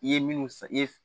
I ye minnu san i ye